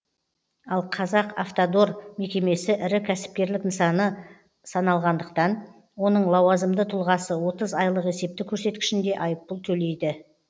ал қазақавтодор мекемесі ірі кәсіпкерлік нысаны саналғандықтан оның лауазымды тұлғасы отыз айлық есептік көрсеткішінде айыппұл төлейд